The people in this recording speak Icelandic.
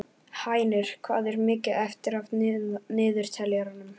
Hænir, hvað er mikið eftir af niðurteljaranum?